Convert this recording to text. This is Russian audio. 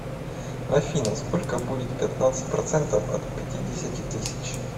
афина сколько будет пятнадцать процентов от пятидесяти тысяч